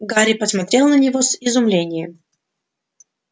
гарри посмотрел на него с изумлением